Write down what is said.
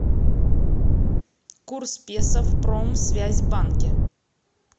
курс песо в промсвязьбанке